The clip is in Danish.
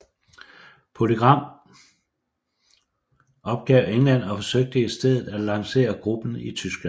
PolyGram opgav England og forsøgte i stedet at lancere gruppen i Tyskland